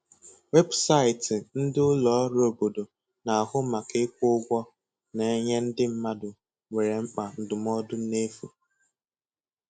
Weebụsaịtị ndị ụlọ ọrụ obodo na-ahu màkà ịkwụ ụgwọ na-enye ndị mmadụ nwere mkpa ndụmọdụ n'efu.